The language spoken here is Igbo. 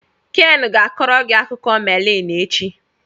Ken ga-akọrọ gị akụkọ meliin echi.